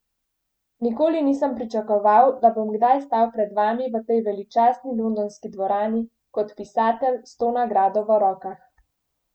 Nikoli nisem pričakoval, da bom kdaj stal pred vami v tej veličastni londonski dvorani kot pisatelj s to nagrado v rokah.